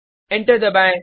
enter दबाएँ